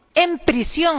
en prisión?